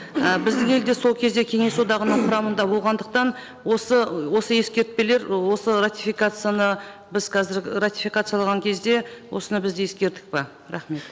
і біздің ел де сол кезде кеңес одағының құрамында болғандықтан осы осы ескертпелер осы ратификацияны біз қазір ратификациялаған кезде осыны біз де ескердік пе рахмет